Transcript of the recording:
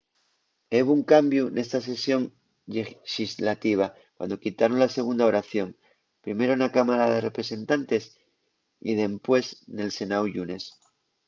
hebo un cambiu nesta sesión llexislativa cuando quitaron la segunda oración primero na cámara de representantes y dempués nel senáu'l llunes